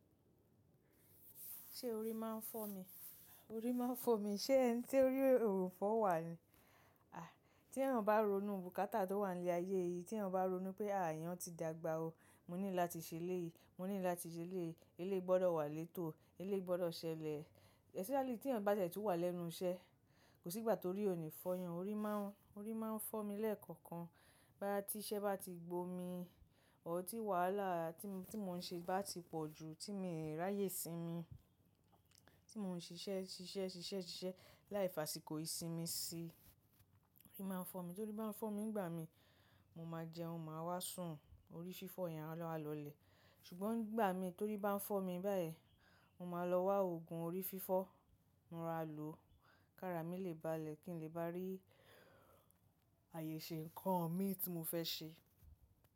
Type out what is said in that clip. Ṣé orí máa ń fọ́ mi? Orí máa ń fọ́ mi. Ṣé ẹni tí orí ò ń fọ́ wà ni? Àí, tí èèyàn bá ronú, bùkátà tó wà ní ilé ayé yìí, tí èèyàn bá ronú pé, "à, èèyàn ti dàgbà o. Mo need láti ṣe léyìí, mo need láti ṣe léyii, eléyii gbọdọ̀ wà létò, eléyii gbọdọ̀ ṣẹlẹ̀." Especially tí èèyàn bá ti e tun wà lẹ́nu iṣẹ́. Kò sí ìgbà tó'rí òní fọ́ yan, orí máa ń, orí máa ń fọ́ mi lẹ́ẹ̀kọ̀kan. Báa tí iṣẹ́ bá ti gbó mi, ọ̀ọ́ tí wàhálà tí mo, tí mò ń ṣe bá ti pọ̀ ju, tí mo ń ràyè sí i mi, tí mò ń ṣiṣẹ́, ṣiṣẹ́, ṣiṣẹ́, ṣiṣẹ́ láì fàsìkò ìsinmi sí i, orí máa ń fọ́ mi. Torí bá ń fọ́ mi ìgbà mi, mo máa jẹun, màá wá sùn, orí fífọ́ yẹn awa lọ lẹ̀. Ṣùgbọ́n nìgbà mi torí bá ń fọ́ mi báyìí, mo máa lọ wá òògùn orí fífọ́, mo raa lòó. Kára mi lè bá lẹ̀ kí n lè bá rí àyè ṣe ǹkan mi tí mo fẹ́ ṣe.